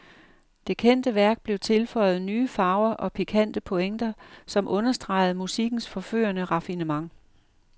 Det kendte værk blev tilføjet nye farver og pikante pointer, som understregede musikkens forførende raffinement.